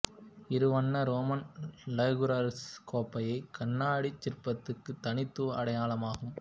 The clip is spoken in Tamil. இரு வண்ண ரோமன் லைகுர்கஸ் கோப்பை கண்ணாடிச் சிற்பத்துக்கு தனித்துவ அடையாளமாகும்